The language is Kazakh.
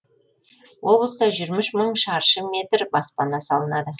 облыста жиырма үш мың шаршы метр баспана салынады